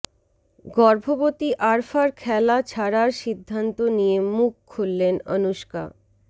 গর্ভবতী আরফার খেলা ছাড়ার সিদ্ধান্ত নিয়ে মুখ খুললেন অনুষ্কা